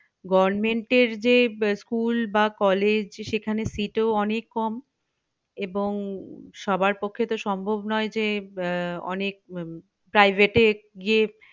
Government এর যে school বা college সেখানে sit ও অনেক কম এবং সবার পক্ষে তো সম্ভব নই যে আহ অনেক private এ গিয়ে